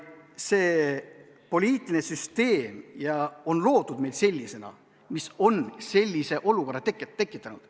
Poliitiline süsteem on loodud meil sellisena, mis on sellise olukorra tekitanud.